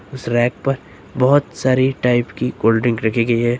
उस रैक पर बहुत सारे टाइप की कोल्ड ड्रिंक रखी गई है।